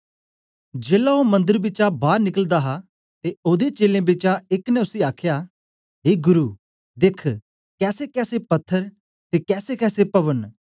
जेलै ओ मंदर बिचा बार निकला दा हा ते ओदे चेलें बिचा एक ने उसी आखया ए गुरु देख कैसेकैसे पत्थर ते कैसेकैसे पभन न